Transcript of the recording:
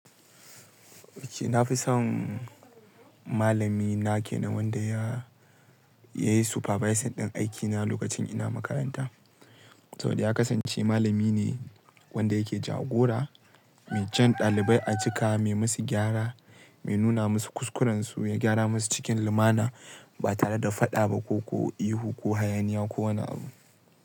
Oke na fi son malamina ke wanda ya, ya yi supervising din aikina lokacin ina makaranta. Saboda ya kasance malami ne wanda yake jagora, mai jan dalibai a cika, mai musu gyara, mai nuna musu kuskuran su, ya gyara musu cikin lumana ba tare da faɗa ba ko, ko ihu ko hayaniya ko wani abu.